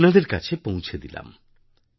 আপনাদের কাছে পৌঁছে দিলাম